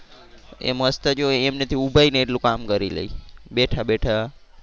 એમાં મસ્ત જે એમને જે ઊભા હોય ને એટલું કામ કરી લે બેઠા બેઠા.